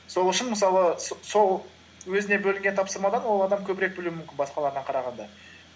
сол үшін мысалы сол өзіне бөлінген тапсырмадан ол адам көбірек білуі мүмкін басқалардан қарағанда